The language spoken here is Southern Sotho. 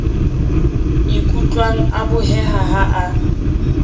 ikutlwang a boheha ha a